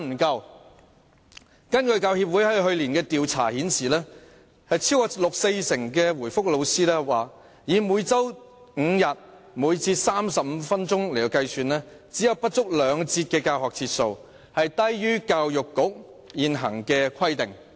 教協去年進行的調查顯示，超過四成老師指出，以每周5天，每節35分鐘計算，中史科的教學節數不足兩節，低於教育局現行規定。